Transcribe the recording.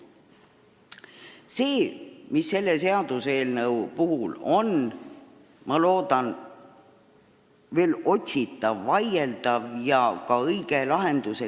See, mis praegu arutatava seaduseelnõu puhul on veel vaieldav, on hindamiskomisjonide koosseis ja pädevus.